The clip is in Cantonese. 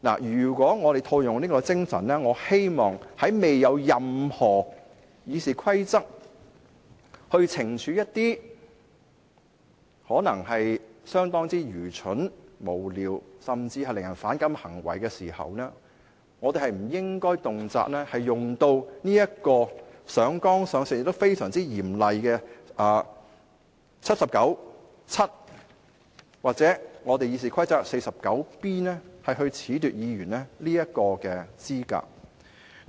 如果套用這個精神，我希望在未有任何《議事規則》可用以懲處一些可能相當愚蠢、無聊，甚至令人反感的行為時，我們不應動輒上綱上線，引用非常嚴厲的《基本法》第七十九條第七項或《議事規則》第 49B 條褫奪議員的資格。